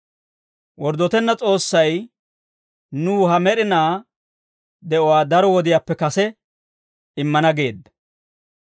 Worddotenna S'oossay nuw ha med'inaa de'uwaa daro wodiyaappe kase immana geedda.